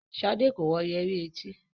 Shade ko wọ Yẹrí et.